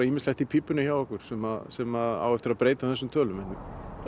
ýmislegt í pípunum hjá okkur sem sem á eftir að breyta þessum tölum